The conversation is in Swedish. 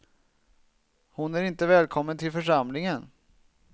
Hon är inte välkommen till församlingen.